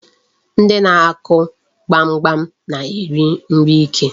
Ndị na-akụ gbamgbam na-eri nri ike.